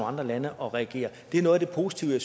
andre lande og reagere det er noget af det positive